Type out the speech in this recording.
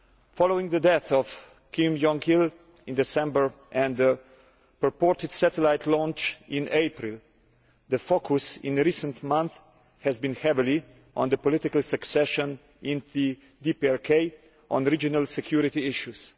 Following the death of Kim Jong il in December and the purported satellite launch in April, the focus in recent months has been heavily on the political succession in the DPRK and on regional security issues.